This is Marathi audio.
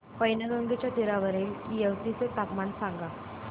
पैनगंगेच्या तीरावरील येवती चे तापमान सांगा